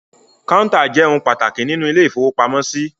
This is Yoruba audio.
Kọ́ńtà jẹ́ ohun pàtàkì nínú ilé-ìfowópamọ́sí.